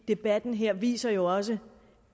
debatten her viser jo også